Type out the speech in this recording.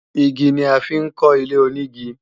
Igi ni a fi ń kọ́ ilé-onígi